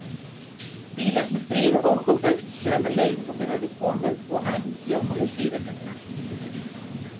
Bílarnir þrír óku burt sömu leið og þeir höfðu komið og enn hljómuðu sírenurnar.